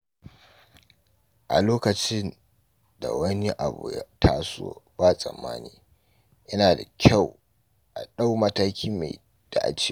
A Lokacin da wani abu ya taso ba tsammani, yana da kyau a ɗau mataki mai dacewa.